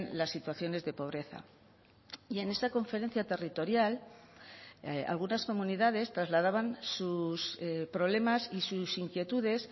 las situaciones de pobreza y en esa conferencia territorial algunas comunidades trasladaban sus problemas y sus inquietudes